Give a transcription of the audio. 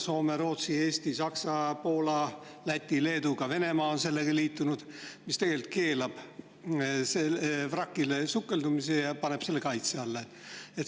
Soome, Rootsi, Eesti, Saksa, Poola, Läti, Leedu ja ka Venemaa on liitunud leppega, mis tegelikult keelab vrakile sukeldumise ja paneb selle kaitse alla.